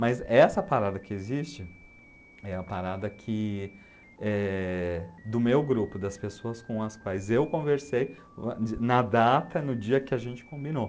Mas essa parada que existe é a parada que, eh, do meu grupo, das pessoas com as quais eu conversei na data, no dia que a gente combinou.